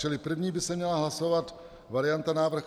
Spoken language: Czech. Čili první by se měla hlasovat varianta - návrh